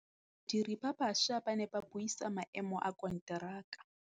Badiri ba baša ba ne ba buisa maêmô a konteraka.